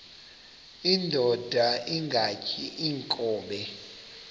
indod ingaty iinkobe